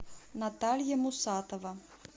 наталья мусатова